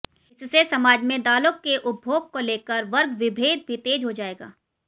इससे समाज में दालों के उपभोग को लेकर वर्ग विभेद भी तेज हो जाएगा